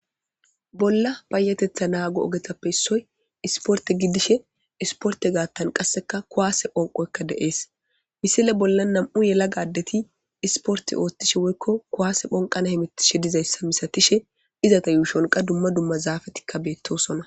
bolla bayatetha naago ogetappe issoy isporte giddishe isporte gaattan qasseka kuwaase onqoykka deees misile bolla nam7u yela gaddeti isporte oothtishe woykko kuwaase phonqana himittishe dizayssa misatishe izata yuushonqa dumma dumma zaafatikka beettosona